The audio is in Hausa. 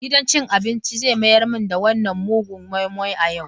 Gidan cin abinci zai mayar mini da wannan mugun moi-moi a yau.